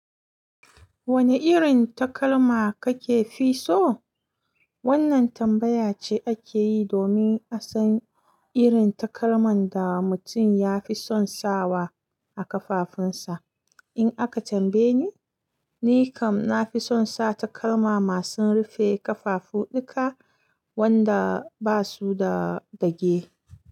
Wane irin takalma kake fi so? Wannan tambaya ce ake yi domin a san irin takalman da mutum ya fi son sawa a kafafunsa. In aka tambaye ni, ni kam na fi son sa takalma masu rufe kafafu duka, wanda ba su da dage.